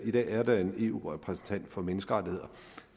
i dag er der en eu repræsentant for menneskerettigheder